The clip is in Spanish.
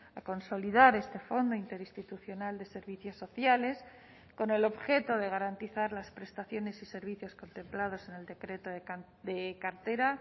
a consolidar este fondo interinstitucional de servicios sociales con el objeto de garantizar las prestaciones y servicios contemplados en el decreto de cartera